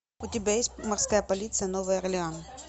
у тебя есть морская полиция новый орлеан